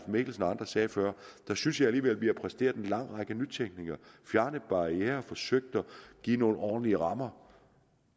mikkelsen og andre sagde før synes jeg alligevel vi har præsteret en lang række nytænkninger fjernet barrierer forsøgt at give nogle ordentlige rammer